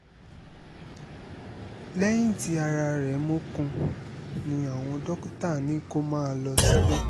lẹ́yìn tí ara rẹ̀ mókun ni àwọn dókítà ní kó máa lọ sílé